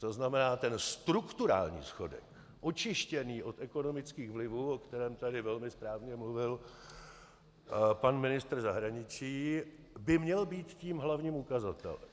To znamená, ten strukturální schodek, očištěný od ekonomických vlivů, o kterém tady velmi správně mluvil pan ministr zahraničí, by měl být tím hlavním ukazatelem.